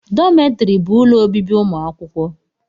Dọmetiri bụ ụlọ obibi ụmụ akwụkwọ